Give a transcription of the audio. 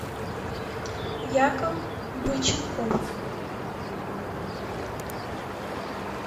яков быченков